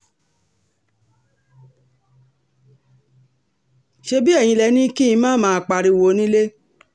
ṣebí eyín lẹ ní kí n má máa pariwo nílẹ̀